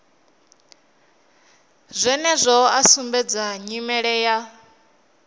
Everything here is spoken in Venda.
zwenezwino a sumbedza nyimele ya